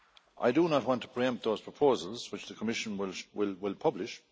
I do not want to pre empt those proposals, which the Commission will publish